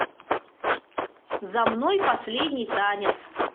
за мной последний танец